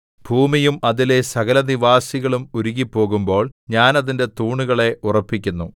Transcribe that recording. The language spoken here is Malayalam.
ഭൂമിയും അതിലെ സകലനിവാസികളും ഉരുകിപ്പോകുമ്പോൾ ഞാൻ അതിന്റെ തൂണുകളെ ഉറപ്പിക്കുന്നു സേലാ